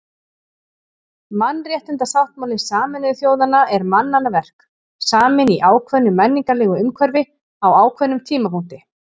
Mannréttindasáttmáli Sameinuðu þjóðanna er mannanna verk, saminn í ákveðnu menningarlegu umhverfi á ákveðnum tímapunkti.